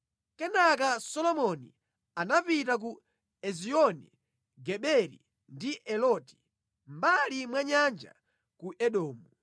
Kenaka Solomoni anapita ku Ezioni-Geberi ndi Eloti, mʼmbali mwa nyanja ku Edomu.